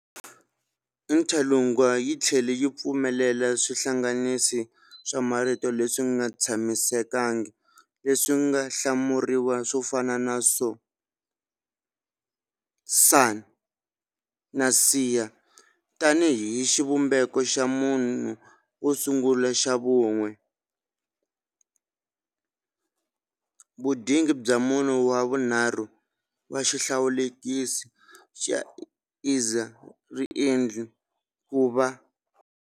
Interlingua yi tlhele yi pfumelela swihlanganisi swa marito leswi nga tshamisekangiki leswi nga hlamuriwa swo fana na so, son na sia tanihi xivumbeko xa munhu wo sungula xa vun'we, vunyingi bya munhu wa vunharhu na xihlawulekisi xa esser, riendli 'ku va'.